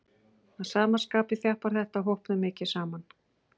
Að sama skapi þjappar þetta hópnum mikið saman.